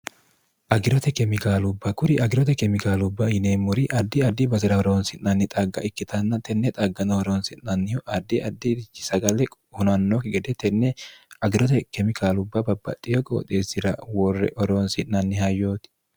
agirote kemikaalubba kuri agirote kemikaalubba yineemmori addi addi basi'ra horoonsi'nanni xagga ikkitanna tenne xagganoh horoonsi'nannihu addi addi rhi sagle hunannooki gede tenne agirote kemikaalubba babbaxxiyo qooxeessira worre oroonsi'nanni ha yooti